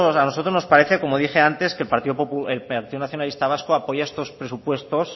a nosotros nos parece como dije antes que el partido nacionalista vasco apoya estos presupuestos